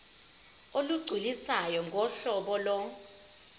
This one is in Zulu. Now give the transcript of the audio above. olugculisayo ngohlobo lo